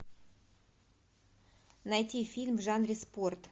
найти фильм в жанре спорт